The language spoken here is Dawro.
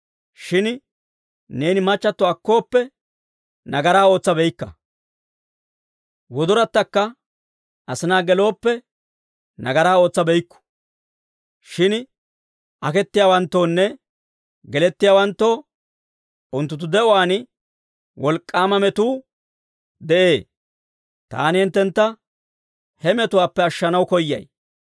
Shin neeni machchatto akkooppe, nagaraa ootsabeykka. Wodorattaakka asinaa gelooppe, nagaraa ootsabeykku. Shin akettiyaawanttoonne gelettiyaawanttoo unttunttu de'uwaan wolk'k'aama metuu de'ee. Taani hinttentta he metuwaappe ashshanaw koyyay.